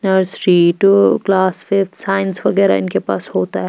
Nursery to class fifth science वगैरह इनके पास होता है।